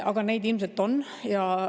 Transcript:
Aga neid on.